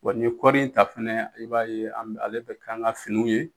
Wa ni kɔri in ta fɛnɛ e b'a ye ale bɛ kɛ an ka finiw ye